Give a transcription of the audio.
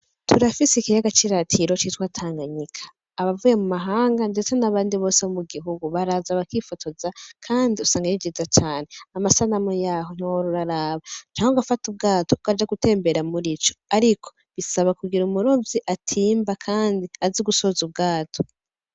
Turafise ikiyaga c'iratiro citwa Tanganyika, abavuye mumahanga ndetse n'abandi bose bo mugihugu baraza bakifotoza kandi usanga ari vyiza cane, amasanamu yaho wohora uraraba canke ugafata ubwato ugatembera murico ariko bisaba kugira umurovyi atimba kandi azi gusoza ubwato.